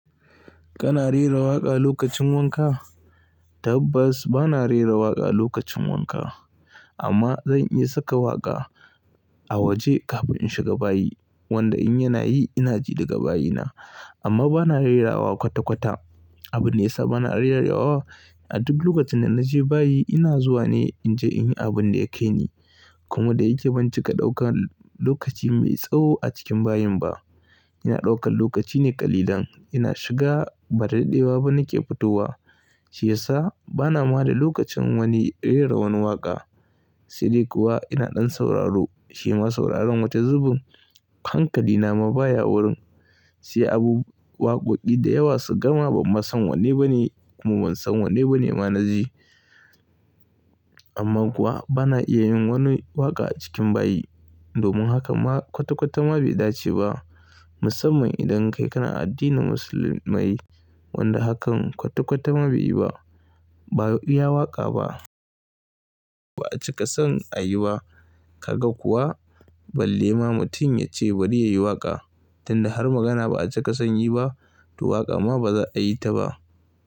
Kana rera waƙa lokacin wanka? Tabbas bana rera waƙa lokacin wanka. Amma zan iya saka waƙa a waje kafin in shiga bayi wanda in yana yi ina ji daga bayina. Amma bana rera waƙa kwata-kwata. Abin da ya sa bana iya rera waƙa a duk lokacin da naje bayi ina zuwa ne in je in yi abin da yakai ni. Kuma da yake ban cika ɗaukan lokaci mai tsawo a cikin bayin ba, ina ɗaukan lokaci ne ƙalilan. Ina shiga ba da daɗewa ba nake fitowa shi ya sa bana ma da lokacin wani rera wani waƙa. Sai dai kuwa ina ɗan sauraro, shi ma sauraron wata zubin. Hankali na ma baya wurin, sai abu waƙoƙi dayawa suka gama ban ma san wanne ba ne kuma ban san wanne ba ne ma na ji. Amma kuwa bana iya yin wani waƙa a cikin bayi. Domin haka ma kwata-kwata ma bai dace ba musamman idan kai kana addinin musulmai wanda hakan kwata-kwata ma bai yi ba. Ba iya waƙa ba, ba a cika son ayi ba. Kaga kuwa balle ma mutum ya ce bari yayi waƙa tunda har magana ba a cika son yi ba, to waƙa ma baza a yi ta ba.